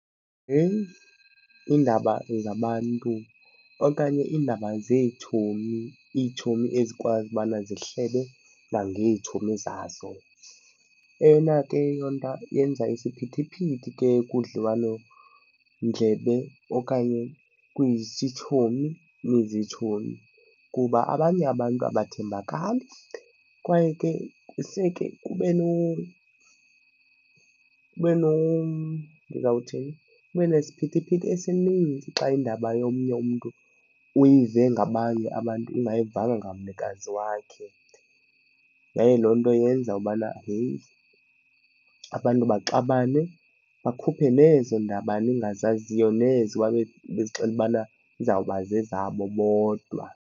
Yeyi, iindaba zabantu okanye iindaba zeetshomi, itshomi ezikwazi ubana zihlebe kwangeetshomi zazo. Eyona ke loo nto yenza isiphithiphithi ke kudliwanondlebe okanye kwizitshomi niizitshomi kuba abanye abantu abathembakali kwaye ke seke kube . Ndizawuthini? Kube nesiphithiphithi esininzi xa indaba yomnye umntu uyive ngabanye abantu ungayivanga ngamnikazi wakhe. Yaye loo nto yenza ubana, heyi, abantu baxabane bakhuphe nezo ndaba ningazaziyo, nezo bezixelela ubana izawuba zezabo bodwa.